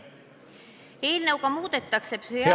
Eelnõuga muudetakse psühhiaatrilise ...